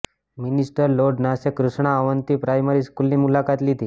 minister lord નાશે Krishna Avanti primary સ્કૂલની મુલાકાત લીધી